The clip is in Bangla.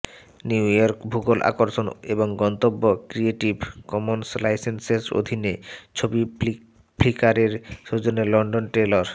নিউ ইয়র্ক ভূগোল আকর্ষণ এবং গন্তব্য ক্রিয়েটিভ কমন্স লাইসেন্সের অধীনে ছবি ফ্লিকারের সৌজন্যে লিন্ডেন টেইর